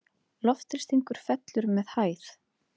Loftþrýstingur fellur með hæð.